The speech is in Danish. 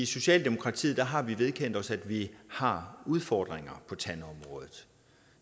socialdemokratiet har vi vedkendt os at vi har udfordringer på tandområdet